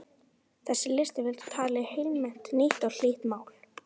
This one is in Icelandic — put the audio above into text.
Þessi listaverk tali heilnæmt, nýtt og hlýtt mál.